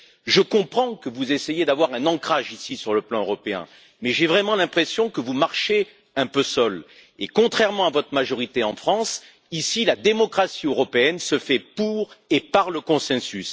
Je comprends que vous essayiez, ici, d'avoir un ancrage sur le plan européen, mais j'ai vraiment l'impression que vous marchez un peu seul et, contrairement à votre majorité en France, la démocratie européenne se fait ici pour et par le consensus.